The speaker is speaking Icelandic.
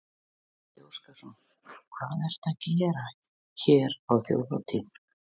Gísli Óskarsson: Hvað ertu að gera hér á þjóðhátíð?